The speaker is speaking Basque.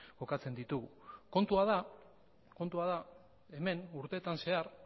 kokatzen ditugu kontua da hemen urteetan zehar